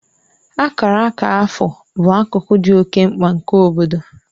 Akara akara afọ bụ akụkụ dị oke mkpa nke obodo